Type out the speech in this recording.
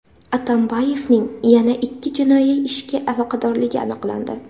Atambayevning yana ikki jinoiy ishga aloqadorligi aniqlandi.